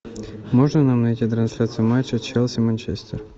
можно нам найти трансляцию матча челси манчестер